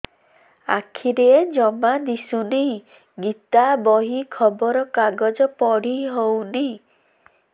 ଆଖିରେ ଜମା ଦୁଶୁନି ଗୀତା ବହି ଖବର କାଗଜ ପଢି ହଉନି